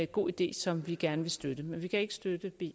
god idé som vi gerne vil støtte men vi kan ikke støtte b